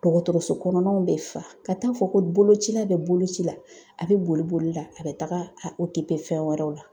Dɔgɔtɔrɔso kɔnɔnaw bɛ fa , ka taa fɔ ko boloci la bɛ bolo ci la, a bɛ boli boli la a bɛ taga a fɛn wɛrɛw la.